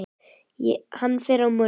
Hann fer á morgun.